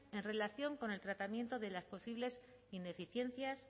en relación con el tratamiento de las posibles ineficiencias